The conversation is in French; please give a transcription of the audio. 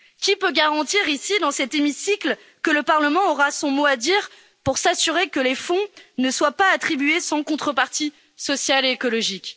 Qui peut garantir ici, dans cet hémicycle, que le Parlement aura son mot à dire pour s'assurer que les fonds ne soient pas attribués sans contrepartie sociale et écologique?